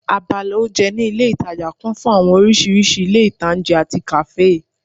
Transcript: Abala oúnjẹ ní ilé ìtajà kún fún àwọn oríṣiríṣi ilé-ìtańjẹ àti kàáfè